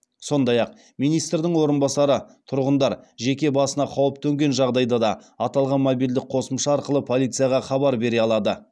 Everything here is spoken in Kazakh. сондай ақ министрдің орынбасары тұрғындар жеке басына қауіп төнген жағдайда да аталған мобильді қосымша арқылы полицияға хабар бере алады